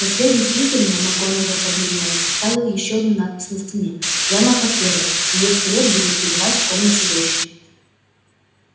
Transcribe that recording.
наследник слизерина макгонагалл побледнела оставил ещё одну надпись на стене прямо под первой её скелет будет пребывать в комнате вечно